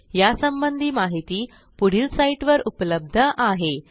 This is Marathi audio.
001311 001308 यासंबंधी माहिती पुढील साईटवर उपलब्ध आहे